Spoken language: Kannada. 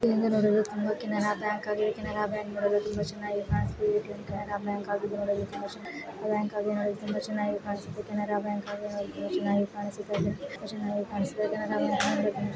ದೂರದಲ್ಲಿ ನೂಡಲು ಕ್ಯಾನರ ಬ್ಯಾಂಕ್ ಆಗಿದೆ ಕ್ಯಾನರ ಬ್ಯಾಂಕ್ ತುಂಬಾ ಚೆನ್ನಾಗಿ ಕಾಣಿಸುತ್ತಿದೆ ಕ್ಯಾನರ ಬ್ಯಾಂಕ್ ಕ್ಯಾನರ ಬ್ಯಾಂಕ್ ನೂಡಲು ತುಂಬಾ ಚೆನ್ನಾಗಿ ಕಾಣಿಸುತ್ತಿದೆ.